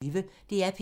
DR P1